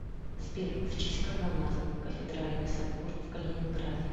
сбер в честь кого назван кафедральный собор в калининграде